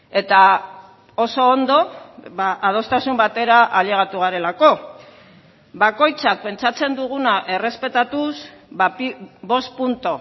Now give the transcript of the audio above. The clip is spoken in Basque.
eta oso ondo adostasun batera ailegatu garelako bakoitzak pentsatzen duguna errespetatuz bost puntu